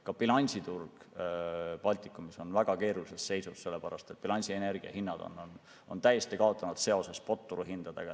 Ka bilansiturg Baltikumis on väga keerulises seisus, sellepärast et bilansienergia hinnad on täiesti kaotanud seose spotturuhindadega.